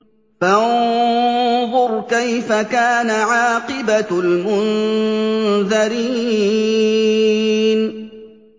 فَانظُرْ كَيْفَ كَانَ عَاقِبَةُ الْمُنذَرِينَ